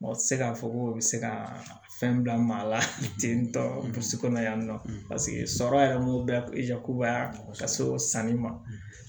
Mɔgɔ tɛ se k'a fɔ ko u bɛ se ka fɛn bila maa la ten tɔ yan nɔ sɔrɔ yɛrɛ mun bɛ yakubaya ka se sanni ma